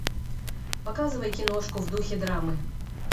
показывай киношку в духе драмы